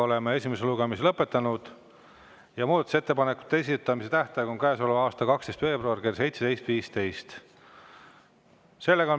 Oleme esimese lugemise lõpetanud ja muudatusettepanekute esitamise tähtaeg on käesoleva aasta 12. veebruar kell 17.15.